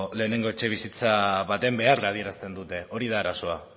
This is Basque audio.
lehenengo etxebizitza baten beharra adierazten dute hori da arazoa